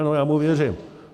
Ano, já mu věřím.